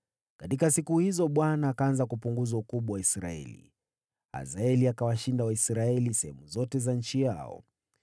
Katika siku hizo, Bwana akaanza kupunguza ukubwa wa Israeli. Hazaeli akawashinda Waisraeli sehemu zote za nchi yao